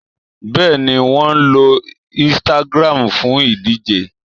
Bẹ́ẹ̀ni, wọn lo Instagram fún ìdíje